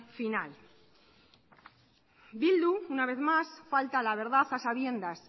final bildu una vez más falta a la verdad a sabiendas